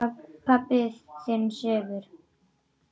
Pabbi þinn sefur.